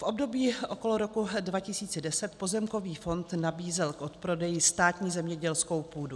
V období okolo roku 2010 pozemkový fond nabízel k odprodeji státní zemědělskou půdu.